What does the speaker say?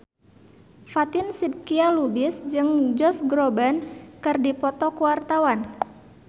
Fatin Shidqia Lubis jeung Josh Groban keur dipoto ku wartawan